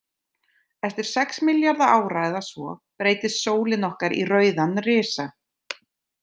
Eftir sex milljarða ára eða svo, breytist sólin okkar í rauðan risa.